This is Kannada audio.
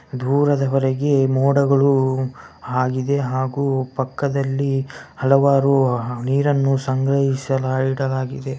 ದೂರದವರೆಗೆ ಮೋಡಗಳು ಹಾಗಿದೆ ಹಾಗು ಪಕ್ಕದಲ್ಲಿ ಹಲವಾರು ನೀರನ್ನು ಸಂಗ್ರಹಿಸಿ ಇಡಲಾಗಿದೆ.